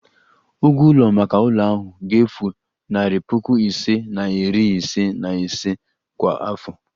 Ụgwọ ụlọ maka ụlọ ahụ ga-efu narị puku ise na iri ise na ise kwa afọ